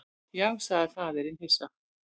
Já, sagði faðirinn hissa.